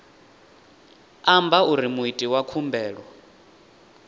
amba uri muiti wa khumbelo